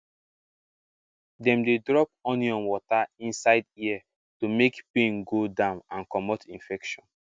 dem dey drop onion water inside ear to make pain go down and comot infection